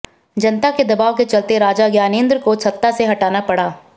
जनता के दबाव के चलते राजा ज्ञानेन्द्र को सत्ता से हटना पड़ा